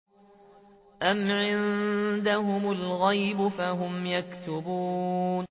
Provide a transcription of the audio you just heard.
أَمْ عِندَهُمُ الْغَيْبُ فَهُمْ يَكْتُبُونَ